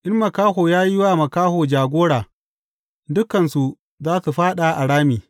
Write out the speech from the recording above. In makaho ya yi wa makaho jagora, dukansu za su fāɗa a rami.